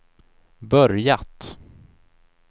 börjat